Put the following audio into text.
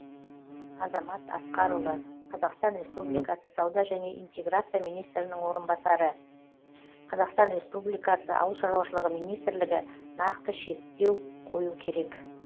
азамат асқарұлы қазақстан республикасы сауда және интеграция министрінің орынбасары қазақстан республикасы ауыл шаруашылығы министрлігі нақты шектеу қою керек